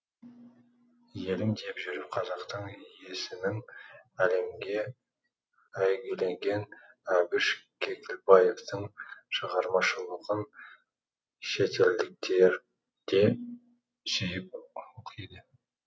елім деп жүріп қазақтың есімін әлемге әйгілеген әбіш кекілбаевтың шығармашылығын шетелдіктер де сүйіп оқиды